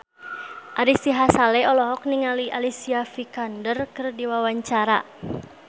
Ari Sihasale olohok ningali Alicia Vikander keur diwawancara